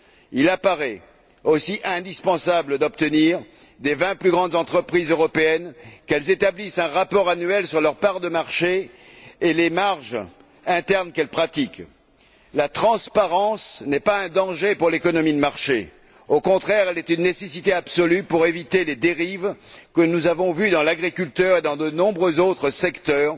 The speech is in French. Il apparaît aussi indispensable d'obtenir des vingt plus grandes entreprises européennes qu'elles établissent un rapport annuel sur leurs parts de marché et les marges internes qu'elles pratiquent. La transparence n'est pas un danger pour l'économie de marché. Au contraire, elle est une nécessité absolue pour éviter les dérives qui ont été constatées dans l'agriculture et dans de nombreux autres secteurs,